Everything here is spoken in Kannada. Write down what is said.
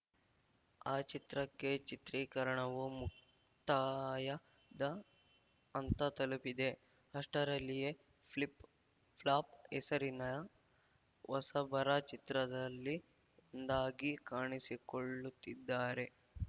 ಆ ಚಿತ್ರಕ್ಕೆ ಚಿತ್ರೀಕರಣವೂ ಮುಕ್ತಾಯದ ಹಂತ ತಲುಪಿದೆ ಅಷ್ಟರಲ್ಲಿಯೇ ಫ್ಲಿಪ್‌ ಫ್ಲಾಪ್‌ ಹೆಸರಿನ ಹೊಸಬರ ಚಿತ್ರದಲ್ಲಿ ಒಂದಾಗಿ ಕಾಣಿಸಿಕೊಳ್ಳುತ್ತಿದ್ದಾರೆ